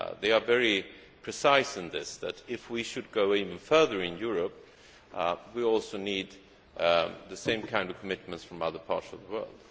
They are very precise that, if we should go even further in Europe, we also need the same kind of commitments from other parts of the world.